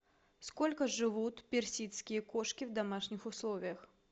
сколько живут персидские кошки в домашних условиях